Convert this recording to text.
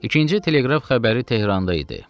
İkinci Teleqraf xəbəri Tehranda idi.